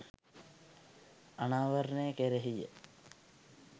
අනාවරණය කෙරෙහිය.